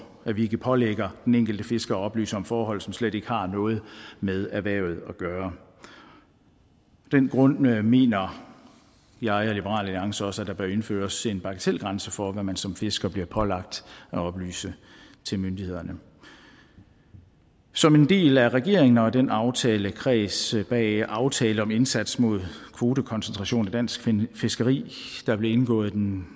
at vi ikke pålægger den enkelte fisker at oplyse om forhold som slet ikke har noget med erhvervet at gøre af den grund mener mener jeg og liberal alliance også at der bør indføres en bagatelgrænse for hvad man som fisker bliver pålagt at oplyse til myndighederne som en del af regeringen og den aftalekreds bag aftalen om indsatsen mod kvotekoncentration i dansk fiskeri der blev indgået en